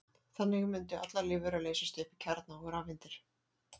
Þannig mundu allar lífverur leysast upp í kjarna og rafeindir.